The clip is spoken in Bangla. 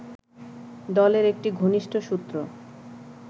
দলের একটি ঘনিষ্ঠ সূত্র